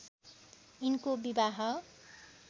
यिनको विवाह